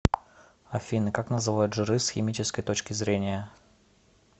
афина как называют жиры с химической точки зрения